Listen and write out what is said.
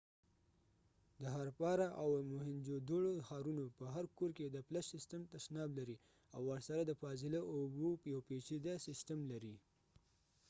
د هارپارا او موهینجودوړو ښارونو په هر کور کې د فلش سیسټم تشناب لري او ورسره د فاضله اوبو یو پيچیده سیسټم لري